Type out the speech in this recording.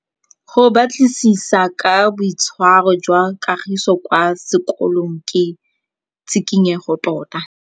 Go batlisisa ka boitshwaro jwa Kagiso kwa sekolong ke tshikinyêgô tota.